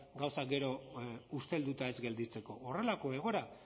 gauzak gero ustelduta ez gelditzeko horrelako egoera